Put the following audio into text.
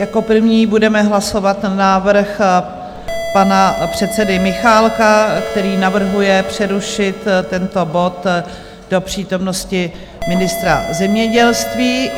Jako první budeme hlasovat návrh pana předsedy Michálka, který navrhuje přerušit tento bod do přítomnosti ministra zemědělství.